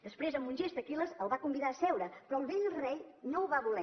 després amb un gest aquil·les el va convidar a seure però el vell rei no ho va voler